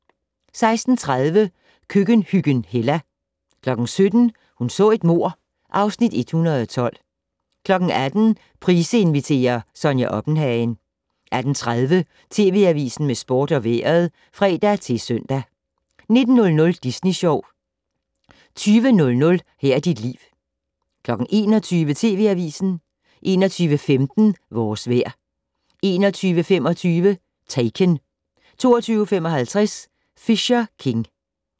16:30: Køkkenhyggen Hella 17:00: Hun så et mord (Afs. 112) 18:00: Price inviterer - Sonja Oppenhagen 18:30: TV Avisen med sport og vejret (fre-søn) 19:00: Disney Sjov 20:00: Her er dit liv 21:00: TV Avisen 21:15: Vores vejr 21:25: Taken 22:55: Fisher King